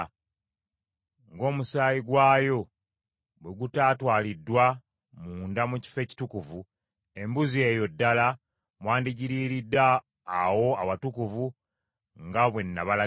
Ng’omusaayi gwayo bwe gutaatwaliddwa munda mu Kifo Ekitukuvu, embuzi eyo ddala mwandigiriiridde awo awatukuvu nga bwe nabalagira.”